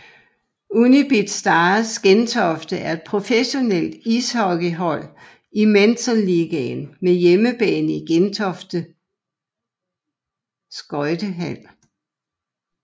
Unibet Stars Gentofte er et professionelt ishockeyhold i Metal Ligaen med hjemmebane i Gentofte Skøjtehal